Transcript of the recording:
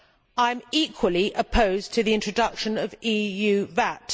I am equally opposed to the introduction of EU VAT.